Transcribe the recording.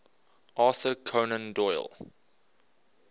arthur conan doyle